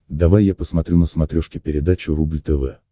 давай я посмотрю на смотрешке передачу рубль тв